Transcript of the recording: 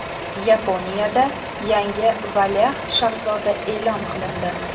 Yaponiyada yangi valiahd shahzoda e’lon qilindi.